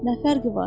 Nə fərqi var?